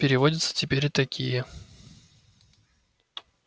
переводятся теперь и такие